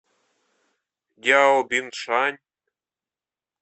дяобиншань